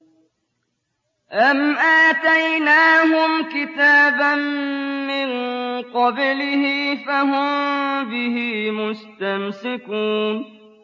أَمْ آتَيْنَاهُمْ كِتَابًا مِّن قَبْلِهِ فَهُم بِهِ مُسْتَمْسِكُونَ